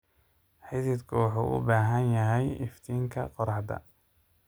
Xididku wuxuu u baahan yahay iftiinka qorraxda.